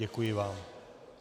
Děkuji vám.